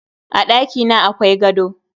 A ɗakina akwai gado.